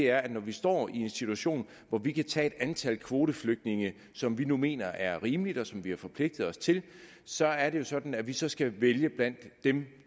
er at når vi står i en situation hvor vi kan tage et antal kvoteflygtninge som vi nu mener er rimeligt og som vi har forpligtet os til så er det jo sådan at vi så skal vælge blandt dem